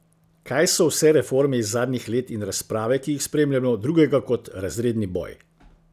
Kaj so vse reforme iz zadnjih let in razprave, ki jih spremljajo, drugega kot razredni boj?